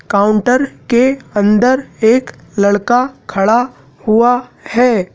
Counter के अंदर एक लड़का खड़ा हुआ है।